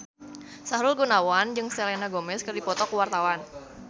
Sahrul Gunawan jeung Selena Gomez keur dipoto ku wartawan